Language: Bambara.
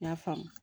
N y'a faamu